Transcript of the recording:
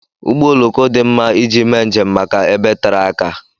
Ụgbọ ọloko dị mma iji mee njem màkà ebe tere aka.